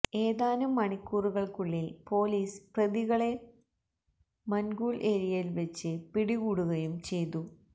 ഏതാനും മണിക്കൂറുകള്ക്കുള്ളില് പോലിസ് പ്രതികളെ മന്ഖൂല് ഏരിയയില് വച്ച് പിടികൂടുകയും ചെയ്തു